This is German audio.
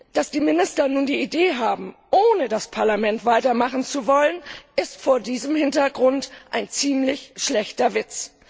Dass die Minister nun die Idee haben, ohne das Parlament weitermachen zu wollen, ist vor diesem Hintergrund ein ziemlich schlechter Witz!